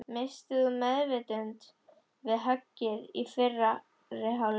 Misstir þú meðvitund við höggið í fyrri hálfleik?